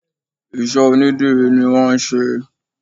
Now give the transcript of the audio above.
Ìṣe onidírì ni wọn ṣe é.